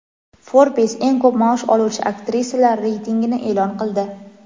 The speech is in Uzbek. "Forbes" eng ko‘p maosh oluvchi aktrisalar reytingini e’lon qildi.